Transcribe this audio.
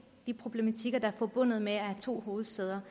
de problematikker der er forbundet med at have to hovedsæder